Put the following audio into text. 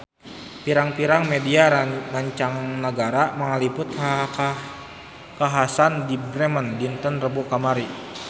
Pirang-pirang media mancanagara ngaliput kakhasan di Bremen dinten Rebo kamari